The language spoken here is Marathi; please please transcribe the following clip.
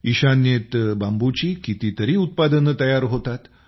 ईशान्येत बांबूची कितीतरी उत्पादनं बनवली जातात